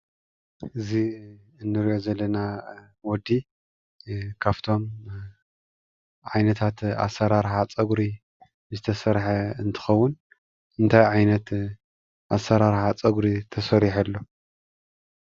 እዚ እንሪኦ ዘለና ወዲ ካብቶም ዓይነታት ኣሰራርሓ ፀጉሪ ዝተሰርሐ እንትከውን፣ እንታይ ዓይነት ኣሰራርሓ ፀጉሪ ተሰሪሑ ኣሎ?